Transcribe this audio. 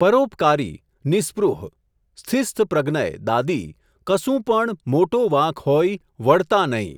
પરોપકારી, નિઃસ્પૃહ, સ્થિસ્થપ્રગનય, દાદી, કસુપણ મોટો વાંક હોઈ, વડતા નહીં